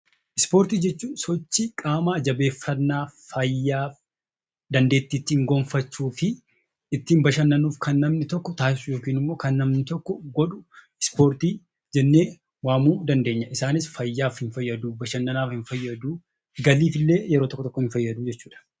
Ispoortii jechuun sochii qaamaa jabeeffannaa, fayyaa dandeettii ittiin gonfachuu fi ittiin bashannanuuf kan namni tokko taasisu yookaan immoo kan namni tokko godhu 'Ispoortii' jennee waamuu dandeenya. Isaanis fayyaaf hin fayyaduu, bashannanaaf hin fayyaduu, galiif illee yeroo tokko tokko hin fayyadu jechuu dha.